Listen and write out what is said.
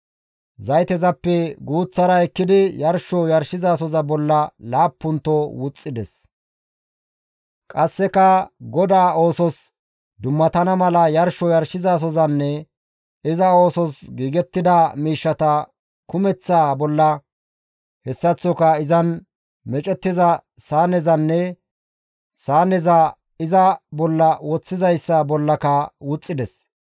Zaytezappe guuththara ekkidi yarsho yarshizasoza bolla laappunto wuxxides; qasseka GODAA oosos dummatana mala yarsho yarshizasozanne iza oosos giigettida miishshata kumeththaa bolla hessaththoka izan meecettiza saanezanne saaneza iza bolla woththizayssa bollaka wuxxides.